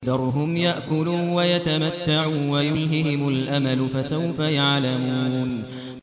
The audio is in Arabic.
ذَرْهُمْ يَأْكُلُوا وَيَتَمَتَّعُوا وَيُلْهِهِمُ الْأَمَلُ ۖ فَسَوْفَ يَعْلَمُونَ